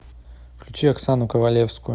включи оксану ковалевскую